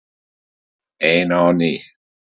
Ein á ný.